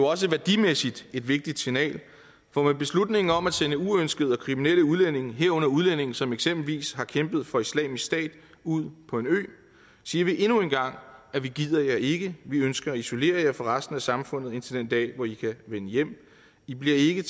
også værdimæssigt et vigtigt signal for med beslutningen om at sende uønskede og kriminelle udlændinge herunder udlændinge som eksempelvis har kæmpet for islamisk stat ud på en ø siger vi endnu en gang at vi gider jer ikke vi ønsker at isolere jer fra resten af samfundet indtil den dag hvor i kan vende hjem i bliver ikke